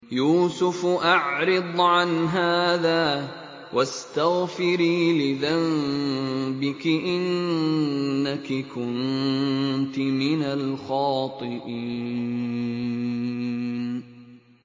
يُوسُفُ أَعْرِضْ عَنْ هَٰذَا ۚ وَاسْتَغْفِرِي لِذَنبِكِ ۖ إِنَّكِ كُنتِ مِنَ الْخَاطِئِينَ